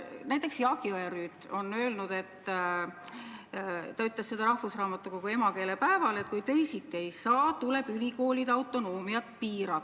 Näiteks Jaak Jõerüüt on öelnud – ta ütles seda rahvusraamatukogu emakeelepäeval –, et kui teisiti ei saa, tuleb ülikoolide autonoomiat piirata.